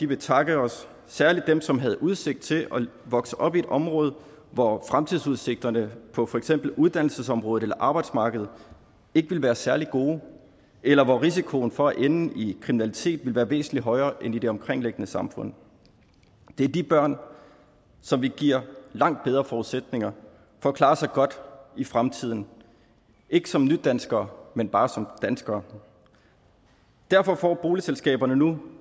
vil takke os særlig dem som havde udsigt til at vokse op i et område hvor fremtidsudsigterne på for eksempel uddannelsesområdet eller arbejdsmarkedet ikke ville være særlig gode eller hvor risikoen for at ende i kriminalitet ville være væsentlig højere end i det omkringliggende samfund det er de børn som vi giver langt bedre forudsætninger for at klare sig godt i fremtiden ikke som nydanskere men bare som danskere derfor får boligselskaberne nu